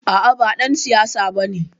A'a ba ɗan siyasa bane.